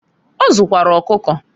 Ọ zụkwara ọkụkọ.